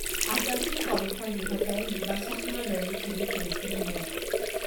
আকাশীৰ কণ্ঠৰ দৃঢ়তাই দিবাস্বপ্নৰ দৰেই খেদি ফুৰিছিল মোক